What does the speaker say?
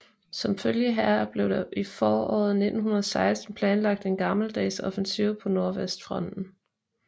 Som følge heraf blev der i foråret 1916 planlagt en gammeldags offensiv på nordvestfronten